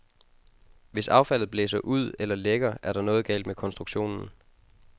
Hvis affaldet blæser ud eller lækker, er der noget galt med konstruktionen.